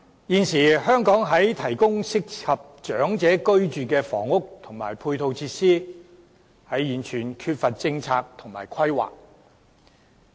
現時香港提供適合長者居住的房屋及配套設施時，完全缺乏政策和規劃。